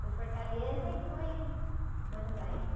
Foi Fortaleza e foi Buenos Aires.